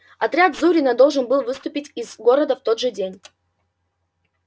отряд зурина должен был выступить из города в тот же день